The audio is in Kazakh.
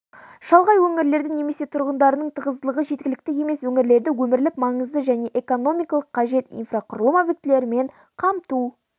шалғай өңірлерді немесе тұрғындарының тығыздылығы жеткілікті емес өңірлерді өмірлік маңызды және экономикалық қажет инфрақұрылым объектілерімен қамту